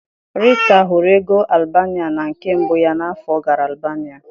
Rita hụrụ ego Albania na nke mbụ ya n'afọ ọ gara Albania.